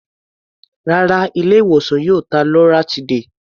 Rárá, ilé-ìwòsàn yìí ò ta loratiday.